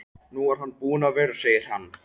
Nú er hann búinn að vera, sagði hann.